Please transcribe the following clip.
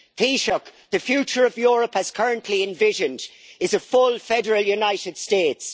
it. Taoiseach, the future of Europe, as currently envisioned, is a full federal united states.